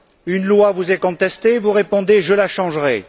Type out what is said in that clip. Une loi vous est contestée, vous répondez Je la changerai.